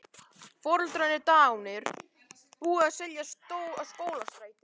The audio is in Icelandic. Foreldrarnir dánir, búið að selja Skólastræti.